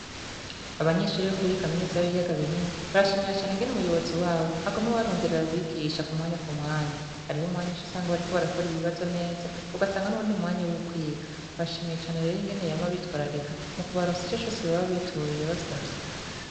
Abanyeshure bo kuri kaminiza y'ibiyaga binini barashimiye cane ingene umuyobozi wabo aguma abaronderera abigisha kumwanya kumwanya. Hariho umwanya uc'usanga bariko barakora ibibazo neza ugasanga n'uwundi mwanya w'ukwiga, barashimiye cane rero ingene yama abitwararika mukubaronsa ico cose baba bituye basavye.